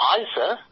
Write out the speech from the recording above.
high sir